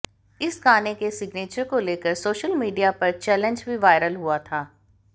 इस गाने के सिग्नेचर को लेकर सोशल मीडिया पर एक चैलेंज भी वायरल हुआ था